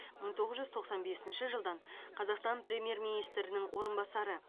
мың тоғыз жүз тоқсан бесінші жылдан қазақстан премьер министрінің орынбасары